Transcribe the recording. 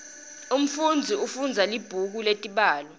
umfunzi ufundza libhuku letibalo